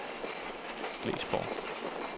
Glesborg